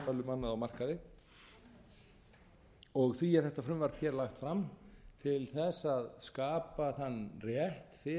um annað á markaði því er þetta frumvarp hér lagt fram til þess að skapa þann rétt fyrir